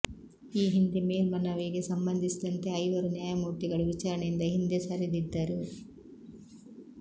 ಈ ಹಿಂದೆ ಮೇಲ್ಮನವಿಗೆ ಸಂಬಂಧಿಸಿದಂತೆ ಐವರು ನ್ಯಾಯಮೂರ್ತಿಗಳು ವಿಚಾರಣೆಯಿಂದ ಹಿಂದೆ ಸರಿದಿದ್ದರು